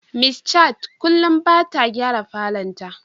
Miss Chat kullum bata gyara falon ta.